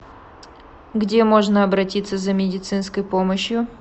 где можно обратиться за медицинской помощью